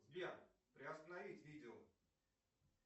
сбер приостановить видео